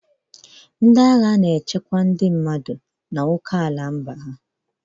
Ndị ami bụ ndị agha ọrụ ha bụ ichekwa okeala mba n'elu ala.